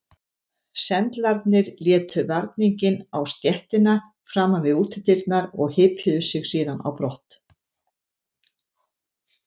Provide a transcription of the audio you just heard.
Sendlarnir létu varninginn á stéttina framan við útidyrnar og hypjuðu sig síðan á brott.